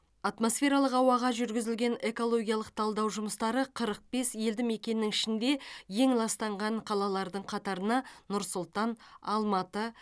атмосфералық ауаға жүргізілген экологиялық талдау жұмыстары қырық бес елді мекеннің ішінде ең ластанған қалалардың қатарына нұр сұлтан алматы